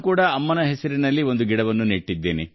ಅಮ್ಮನ ಹೆಸರಲ್ಲಿ ಗಿಡವನ್ನೂ ನೆಟ್ಟಿದ್ದೇನೆ